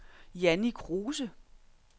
Jannie Kruse